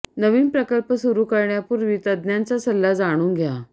नवीन प्रकल्प सुरू करण्यापूर्वी तज्ज्ञांचा सल्ला जाणून घ्या